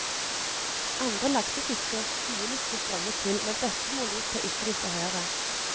Andre laksefiskere og skuelystne strømmet til, men bestemoren lot seg ikke distrahere.